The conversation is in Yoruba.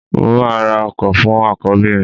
Mo máa ra ọkọ fún àkọ́bí mi